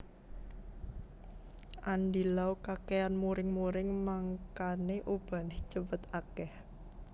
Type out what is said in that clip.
Andy Lau kakean muring muring mangkane ubane cepet akeh